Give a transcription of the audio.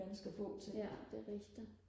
ganske få ting